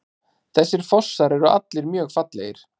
Þessir fossar eru allir mjög fallegir.